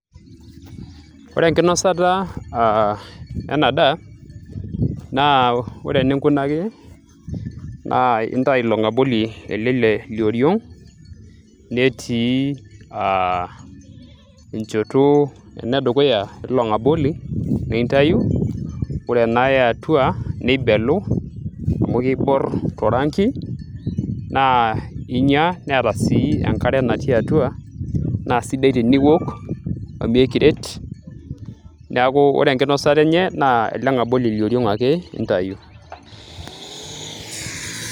ore enkinosata ena daa naa ore eninkunaki naa intai ilo ng'aboli ele lioriong netii aa enchoto enedukuya ilo ng'aboli nintayu ore ena eatua nibelu amu kiborr torangi naa inyia neeta sii enkare natii atua naa sidai teniwok amu ekiret neeku ore enkinosata enye naa ele ng'aboli lioriong ake intayu.